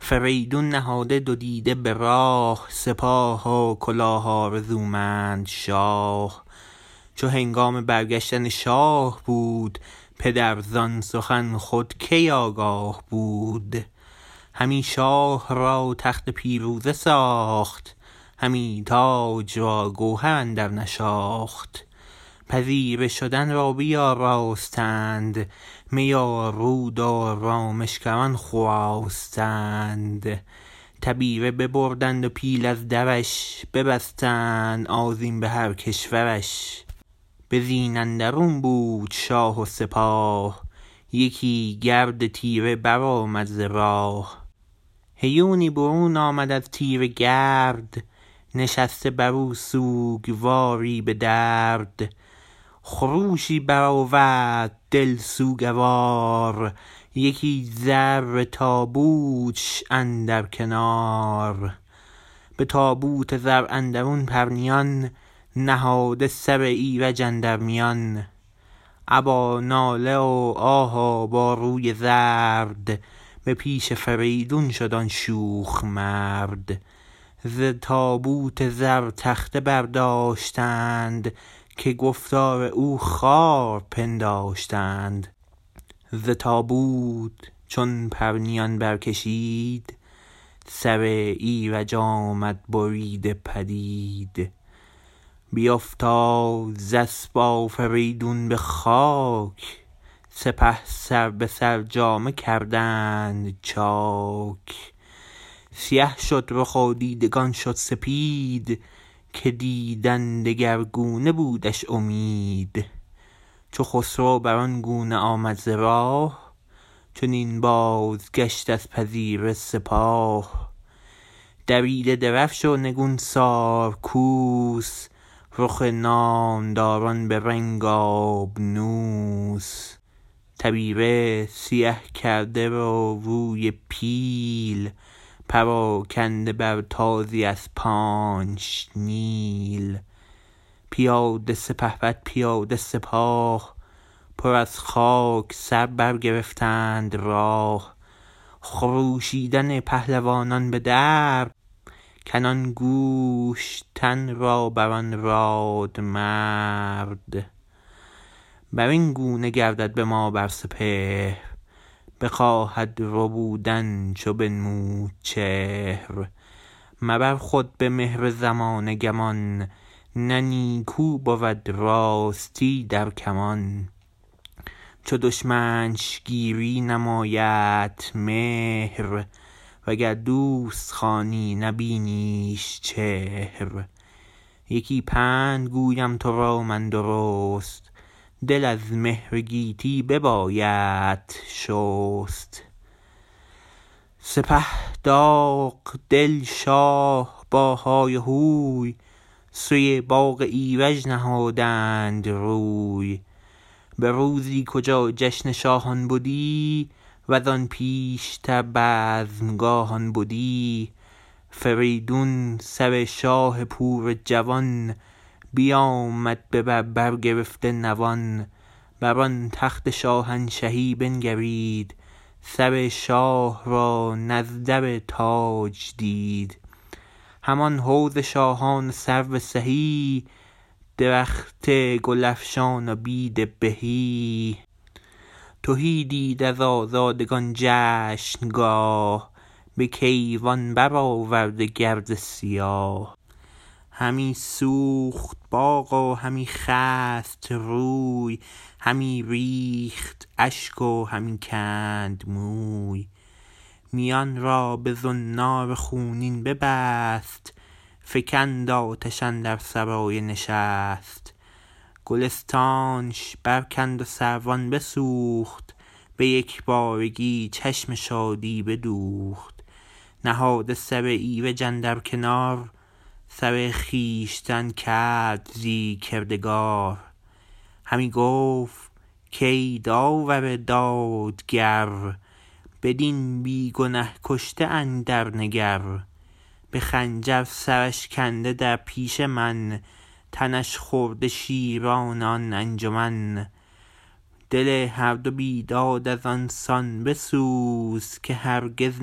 فریدون نهاده دو دیده به راه سپاه و کلاه آرزومند شاه چو هنگام برگشتن شاه بود پدر زان سخن خود کی آگاه بود همی شاه را تخت پیروزه ساخت همی تاج را گوهر اندر نشاخت پذیره شدن را بیاراستند می و رود و رامشگران خواستند تبیره ببردند و پیل از درش ببستند آذین به هر کشورش به زین اندرون بود شاه و سپاه یکی گرد تیره برآمد ز راه هیونی برون آمد از تیره گرد نشسته برو سوگواری به درد خروشی برآورد دل سوگوار یکی زر تابوتش اندر کنار به تابوت زر اندرون پرنیان نهاده سر ایرج اندر میان ابا ناله و آه و با روی زرد به پیش فریدون شد آن شوخ مرد ز تابوت زر تخته برداشتند که گفتار او خوار پنداشتند ز تابوت چون پرنیان برکشید سر ایرج آمد بریده پدید بیافتاد ز اسپ آفریدون به خاک سپه سر به سر جامه کردند چاک سیه شد رخ و دیدگان شد سپید که دیدن دگرگونه بودش امید چو خسرو بران گونه آمد ز راه چنین بازگشت از پذیره سپاه دریده درفش و نگونسار کوس رخ نامداران به رنگ آبنوس تبیره سیه کرده و روی پیل پراکنده بر تازی اسپانش نیل پیاده سپهبد پیاده سپاه پر از خاک سر برگرفتند راه خروشیدن پهلوانان به درد کنان گوشت تن را بران رادمرد برین گونه گردد به ما بر سپهر بخواهد ربودن چو بنمود چهر مبر خود به مهر زمانه گمان نه نیکو بود راستی در کمان چو دشمنش گیری نمایدت مهر و گر دوست خوانی نبینیش چهر یکی پند گویم ترا من درست دل از مهر گیتی ببایدت شست سپه داغ دل شاه با های و هوی سوی باغ ایرج نهادند روی به روزی کجا جشن شاهان بدی وزان پیشتر بزمگاهان بدی فریدون سر شاه پور جوان بیامد ببر برگرفته نوان بر آن تخت شاهنشهی بنگرید سر شاه را نزدر تاج دید همان حوض شاهان و سرو سهی درخت گلفشان و بید و بهی تهی دید از آزادگان جشنگاه به کیوان برآورده گرد سیاه همی سوخت باغ و همی خست روی همی ریخت اشک و همی کند موی میان را به زنار خونین ببست فکند آتش اندر سرای نشست گلستانش برکند و سروان بسوخت به یکبارگی چشم شادی بدوخت نهاده سر ایرج اندر کنار سر خویشتن کرد زی کردگار همی گفت کای داور دادگر بدین بی گنه کشته اندر نگر به خنجر سرش کنده در پیش من تنش خورده شیران آن انجمن دل هر دو بیداد از آن سان بسوز که هرگز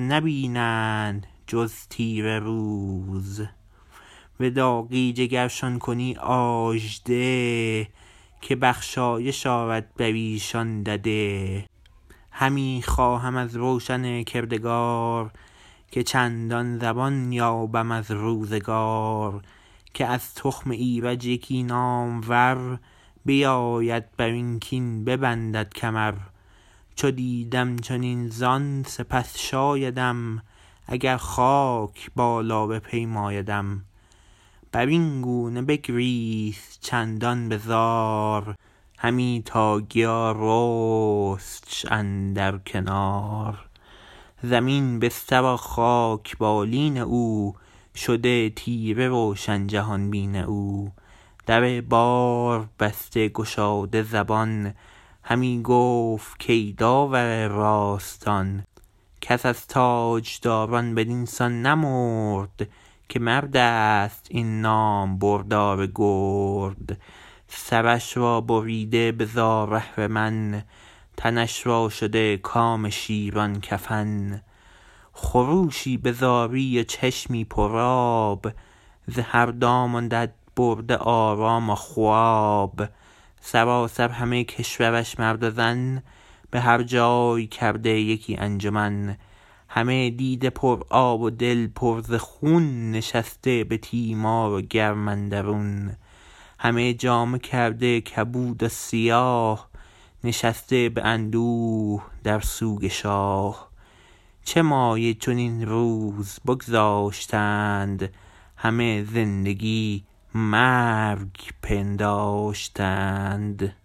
نبینند جز تیره روز به داغی جگرشان کنی آژده که بخشایش آرد بریشان دده همی خواهم از روشن کردگار که چندان زمان یابم از روزگار که از تخم ایرج یکی نامور بیاید برین کین ببندد کمر چو دیدم چنین زان سپس شایدم اگر خاک بالا بپیمایدم برین گونه بگریست چندان بزار همی تا گیا رستش اندر کنار زمین بستر و خاک بالین او شده تیره روشن جهان بین او در بار بسته گشاده زبان همی گفت کای داور راستان کس از تاجداران بدین سان نمرد که مردست این نامبردار گرد سرش را بریده به زار اهرمن تنش را شده کام شیران کفن خروشی به زاری و چشمی پرآب ز هر دام و دد برده آرام و خواب سراسر همه کشورش مرد و زن به هر جای کرده یکی انجمن همه دیده پرآب و دل پر ز خون نشسته به تیمار و گرم اندرون همه جامه کرده کبود و سیاه نشسته به اندوه در سوگ شاه چه مایه چنین روز بگذاشتند همه زندگی مرگ پنداشتند